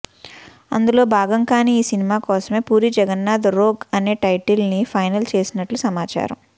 అందులో భాగంగానీ ఈ సినిమా కోసమే పూరి జగన్నాధ్ రోగ్ అనే టైటిల్ ని ఫైనల్ చేసినట్లు సమాచారం